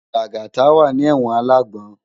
Lagata wá ni èwòn àlágbòn